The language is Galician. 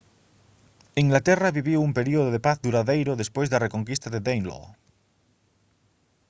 inglaterra viviu un período de paz duradeiro despois da reconquista de danelaw